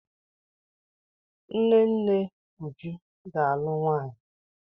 Nne nne Uju ga-alụ nwanyị.